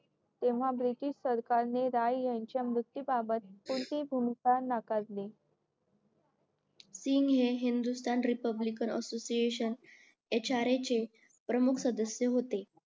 तेव्हा ब्रिटीश सरकारने राय यांच्या मृत्यू बाबत कोणतीही भूमिकी नाकारली हे हिंदुस्थान रिपब्लिकन असोसिएशन hra चे प्रमुख सदस्य होते